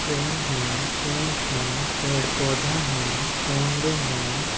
Tent हैं पेड़-पौधे हैं चोंगे हैं।